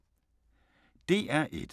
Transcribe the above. DR1